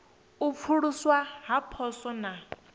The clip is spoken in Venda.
u pfuluswa ha poswo na